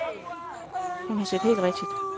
Hun har set helt rigtigt.